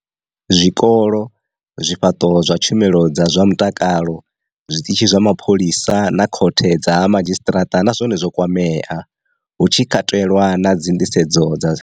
Zwikolo, zwifhaṱo zwa tshumelo dza zwa mutakalo, zwi ṱitshi zwa mapholisa na khothe dza ha madzhisiṱaraṱa na zwone zwo kwamea, hu tshi katelwa na nḓisedzo dza.